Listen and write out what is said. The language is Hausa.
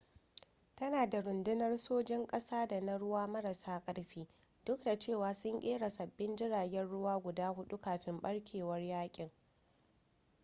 tana da rundunar sojan ƙasa da na ruwa marasa ƙarfi duk da cewa sun kera sabbin jiragen ruwa guda hudu kafin barkewar yakin